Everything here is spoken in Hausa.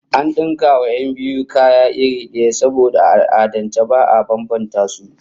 An dinka wa 'yan biyun kaya irin daya, saboda a al'adance ba'a bambanta su